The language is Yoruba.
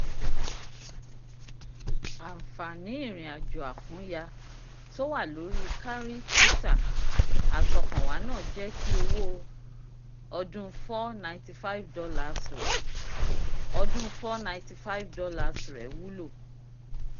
ànfààní irinàjò àkúnya tó wà lórí kárìkítà àtọkànwá náà jẹ́ kí owó ọdún $ four hundred ninety five rẹ̀ ọdún $ four hundred ninety five rẹ̀ wúlò